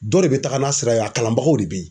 Dɔ de bɛ taga n'a sira ye a kalanbagaw de bɛ yen.